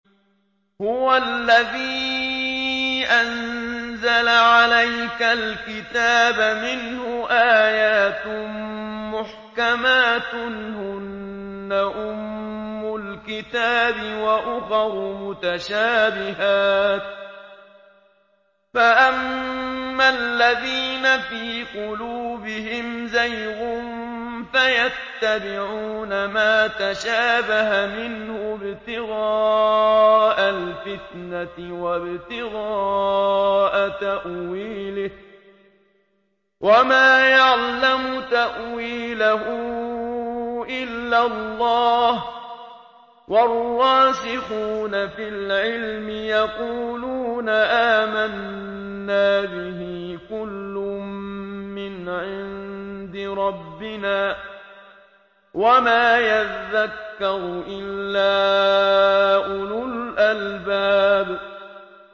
هُوَ الَّذِي أَنزَلَ عَلَيْكَ الْكِتَابَ مِنْهُ آيَاتٌ مُّحْكَمَاتٌ هُنَّ أُمُّ الْكِتَابِ وَأُخَرُ مُتَشَابِهَاتٌ ۖ فَأَمَّا الَّذِينَ فِي قُلُوبِهِمْ زَيْغٌ فَيَتَّبِعُونَ مَا تَشَابَهَ مِنْهُ ابْتِغَاءَ الْفِتْنَةِ وَابْتِغَاءَ تَأْوِيلِهِ ۗ وَمَا يَعْلَمُ تَأْوِيلَهُ إِلَّا اللَّهُ ۗ وَالرَّاسِخُونَ فِي الْعِلْمِ يَقُولُونَ آمَنَّا بِهِ كُلٌّ مِّنْ عِندِ رَبِّنَا ۗ وَمَا يَذَّكَّرُ إِلَّا أُولُو الْأَلْبَابِ